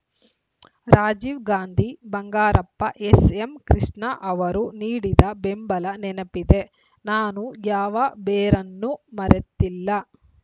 ರಾಜೀವ್‌ ಗಾಂಧಿ ಬಂಗಾರಪ್ಪ ಎಸ್‌ಎಂಕೃಷ್ಣ ಅವರು ನೀಡಿದ ಬೆಂಬಲ ನೆನಪಿದೆ ನಾನು ಯಾವ ಬೇರನ್ನೂ ಮರೆತಿಲ್ಲ